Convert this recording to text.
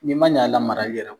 Ni ma ɲɛ a lamarali yɛlɛ kɔ.